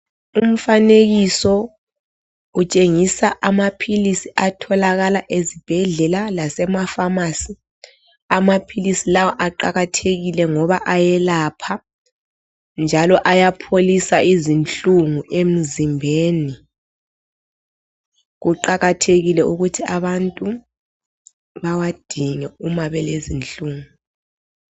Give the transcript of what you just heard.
Umfanekiso utshengisa amaphilisi atholakal ezibhedlela lasemafamasi. Amaphilisi lawa aqakathekile ngoba ayelapha njalo ayapholisa izinhlungu emzimbeni. Kuqakathekile ukuthi abantu bawadinge uma belezinhlungu.